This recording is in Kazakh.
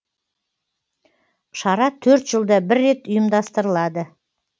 шара төрт жылда бір рет ұйымдастырылады